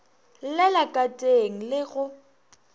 llela ka teng le go